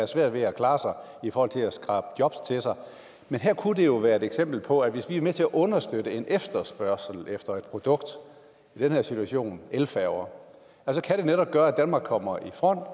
svært ved at klare sig i forhold til at skrabe jobs til sig men her kunne der jo være et eksempel på at hvis vi er med til at understøtte en efterspørgsel efter et produkt i den her situation elfærger så kan det netop gøre at danmark kommer i front og